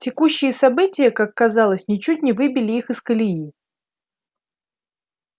текущие события как казалось ничуть не выбили их из колеи